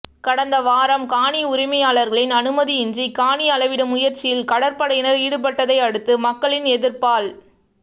கடந்த வாரம் காணி உரிமையாளர்களின் அனுமதி இன்றி காணி அளவிடும் முயற்சியில் கடற்படையினர் ஈடுபட்டதை அடுத்து மக்களின் எதிர்ப்பால்